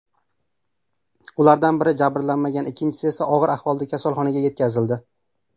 Ulardan biri jabrlanmagan, ikkinchisi esa og‘ir ahvolda kasalxonaga yetkazildi.